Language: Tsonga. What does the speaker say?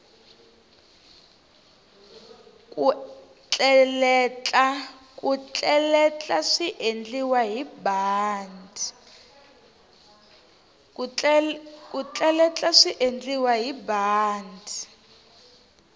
ku tleletla swiendliwa hi bandi